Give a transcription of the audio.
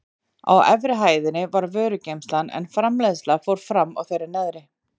Á efri hæðinni var vörugeymsla en framleiðslan fór fram á þeirri neðri.